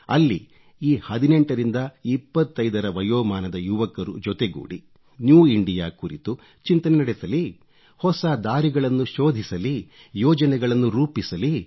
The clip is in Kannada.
ಅಲ್ಲಿ ಈ 18 ರಿಂದ 25 ರ ವಯೋಮಾನದ ಯುವಕರು ಜೊತೆಗೂಡಿ ನ್ಯೂ ಇಂಡಿಯಾ ಕುರಿತು ಚಿಂತನೆ ನಡೆಸಲಿ ಹೊಸ ದಾರಿಗಳನ್ನು ಶೋಧಿಸಲಿ ಯೋಜನೆಗಳನ್ನು ರೂಪಿಸಲಿ